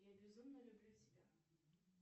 я безумно люблю тебя